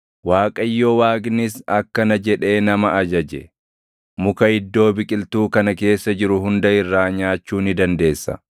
Waaqayyo Waaqnis akkana jedhee nama ajaje; “Muka iddoo biqiltuu kana keessa jiru hunda irraa nyaachuu ni dandeessa;